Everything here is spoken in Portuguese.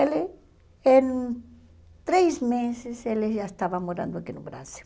Ele, em três meses, ele já estava morando aqui no Brasil.